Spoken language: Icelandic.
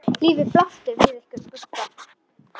Lífið blasti við ykkur Bubba.